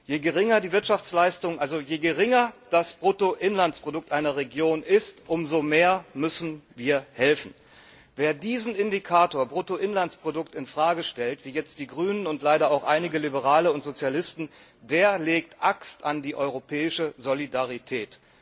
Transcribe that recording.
Je geringer das Bruttoinlandsprodukt einer Region ist, umso mehr müssen wir helfen. Wer diesen Indikator Bruttoinlandsprodukt in Frage stellt, wie jetzt die Grünen und leider auch einige Liberale und Sozialisten, der legt Axt an die europäische Solidarität.